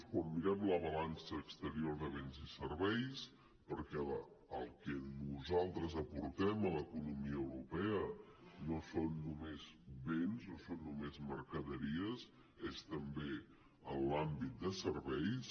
quan mirem la balança exterior de béns i serveis perquè el que nosaltres aportem a l’economia europea no són només béns no són només mercaderies és també en l’àmbit de serveis